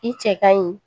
I cɛ ka ɲi